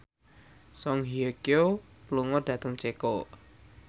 Song Hye Kyo lunga dhateng Ceko